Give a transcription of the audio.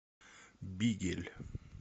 бигель